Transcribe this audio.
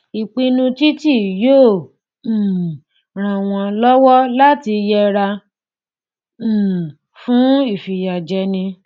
ìpinnu títi yóò um ràn wọn lọwọ láti yẹra um fún ìfiyàjẹni